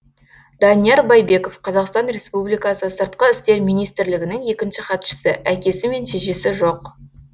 данияр байбеков қазақстан республикасы сыртқы істер министрлігінің екінші хатшысы әкесі мен шешесі жоқ